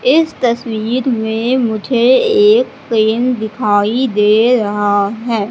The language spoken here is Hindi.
इस तस्वीर में मुझे एक पेन दिखाई दे रहा है।